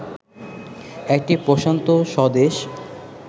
একটি প্রশান্ত স্বদেশ